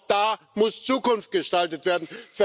Denn auch da muss Zukunft gestaltet werden!